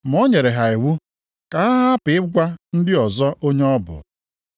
Ma o nyere ha iwu ka ha hapụ ịgwa ndị ọzọ onye ọ bụ.